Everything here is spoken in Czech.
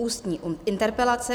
Ústní interpelace